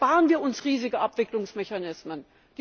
Da sparen wir uns riesige Abwicklungsmechanismen.